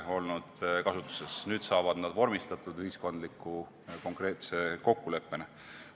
Nüüd saavad need vormistatud konkreetse ühiskondliku kokkuleppena.